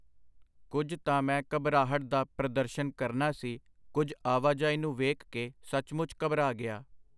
ਕੁਝ ਤਾਂ ਮੈਂ ਘਬਰਾਹਟ ਦਾ ਪ੍ਰਦਰਸ਼ਨ ਕਰਨਾ ਸੀ, ਕੁਝ ਆਵਾਜਾਈ ਨੂੰ ਵੇਖ ਕੇ ਸਚਮੁਚ ਘਬਰਾ ਗਿਆ.